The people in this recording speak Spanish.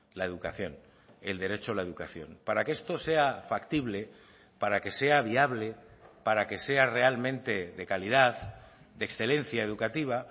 la educación el derecho a la educación para que esto sea factible para que sea viable para que sea realmente de calidad de excelencia educativa